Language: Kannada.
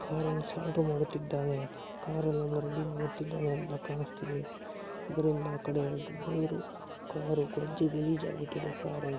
ಕಾರ್ ಅನ್ನು ಸಾಲ್ಡರ್ ಮಾಡುತ್ತಿದ್ದಾನೆ ಕಾರ್ ಅನ್ನು ರೆಡಿ ಮಾಡುತ್ತಿದ್ದಾನೆ ಅಂತ ಕಾಣಸ್ತಿದೆ ಅದ್ರಿಂದ ಆಕಡೆ ಡೋರು ಕಾರ್ ಕೊಂಚ ಗಲೀಜಾಗಿ ಬಿಟ್ಟಿದೆ ಕಾರು --